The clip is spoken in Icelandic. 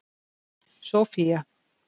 Sófía